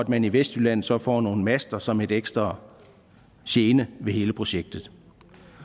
man i vestjylland så får nogle master som en ekstra gene ved hele projektet